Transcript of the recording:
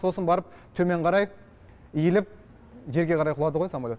сосын барып төмен қарай иіліп жерге қарай құлады ғой самолет